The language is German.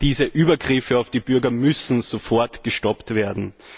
Diese Übergriffe auf die Bürger müssen sofort gestoppt werden!